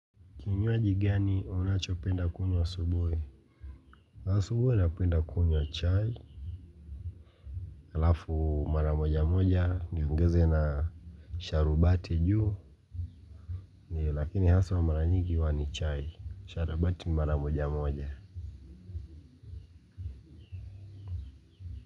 Ni kinywaji gani unacho penda kunywa asubuhi? Asubuhi napenda kunywa chai. Alafu mara moja moja niongeze na sharubati juu. Lakini haswa mara nyigi huwa ni chai. Sharubati ni mara moja moja.